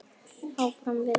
Áfram við öll.